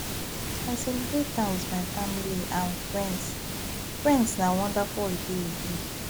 i celebrate am with my family and friends friends na wonderful holiday e be